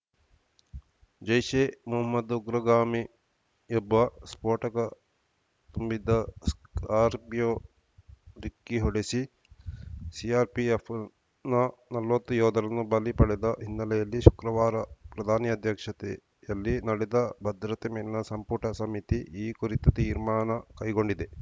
ಜೈಷ್‌ ಎ ಮೊಹಮ್ಮದ್‌ ಉಗ್ರಗಾಮಿಯೊಬ್ಬ ಸ್ಫೋಟಕ ತುಂಬಿದ್ದ ಸ್ಕಾರ್ಪಿಯೋ ಡಿಕ್ಕಿ ಹೊಡೆಸಿ ಸಿಆರ್‌ಪಿಎಫ್‌ನ ನಲವತ್ತು ಯೋಧರನ್ನು ಬಲಿ ಪಡೆದ ಹಿನ್ನೆಲೆಯಲ್ಲಿ ಶುಕ್ರವಾರ ಪ್ರಧಾನಿ ಅಧ್ಯಕ್ಷತೆಯಲ್ಲಿ ನಡೆದ ಭದ್ರತೆ ಮೇಲಿನ ಸಂಪುಟ ಸಮಿತಿ ಈ ಕುರಿತು ತೀರ್ಮಾನ ಕೈಗೊಂಡಿದೆ